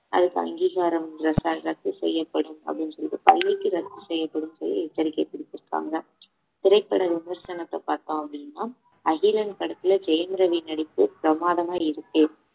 அதுக்கு அங்கீகாரம் ரத்தா~ ரத்து செய்யப்படும் அப்படின்னு சொல்லிட்டு பள்ளிக்கு ரத்து செய்யப்படும்ன்னு சொல்லி எச்சரிக்கை விடுத்திருக்காங்க திரைப்பட விமர்சனத்தை பார்த்தோம் அப்படின்னா அகிலன் படத்துல ஜெயம் ரவி நடிப்பு பிரமாதமா இருக்கு